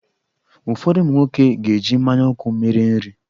Ụfọdụ ụmụ nwoke ga-eji mmanya ọkụ mere nri.